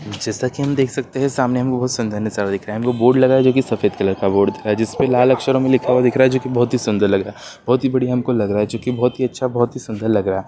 जैसा कि हम देख सकते हैं सामने हमें बहुत सुंदर नजारा दिख रहा है यहाँ पे एक बोर्ड लगा हुआ है जो की सफेद कलर का बोर्ड दिख रहा यहाँ पे लाल अक्षरों में लिखा हुआ दिख रहा है जो की बहुत ही सुंदर लग रहा है बहुत ही अच्छा बहुत ही सुन्दर लग रहा है।